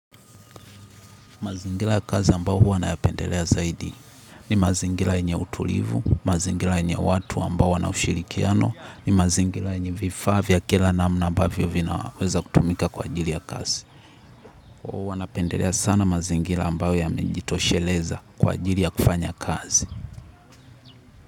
Mazingira ya kazi ambayo huwa nayapendelea zaidi. Ni mazingira yenye utulivu, mazingira yenye watu ambao wana ushirikiano, ni mazingira yenye vifaa vya kila namna ambavyo vinaweza kutumika kwa ajili ya kazi. Huwa napendelea sana mazingira ambayo yamejitosheleza kwa ajili ya kufanya kazi.